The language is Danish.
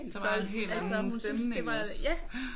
Der var en helt anden stemning også